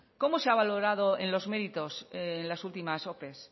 cómo se ha valorado en los méritos las últimas ope